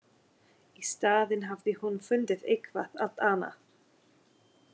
Í staðinn hafði hún fundið eitthvað allt annað.